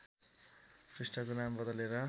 पृष्ठको नाम बदलेर